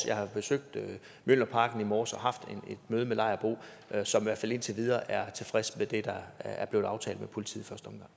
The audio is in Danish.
jeg har besøgt mjølnerparken i morges og haft et møde med lejerbo som i hvert fald indtil videre er tilfreds med det der er blevet aftalt med politiet